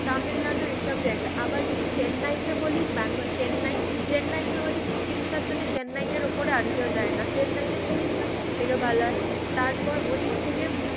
তামিলনাড়ু এসব জায়গা। আবার যদি চেন্নাইতে বলিস বাংগাল চেন্নাই, চেন্নাইতে হচ্ছে চিকিৎসার জন্য চেন্নাইয়ের ওপরে আর কেও যাই না। চেন্নাইতে চিকিৎসা সব থেকে ভালো হয় তারপর ওদিক থেকে